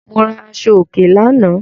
Mo ra aṣọòkè lánàá.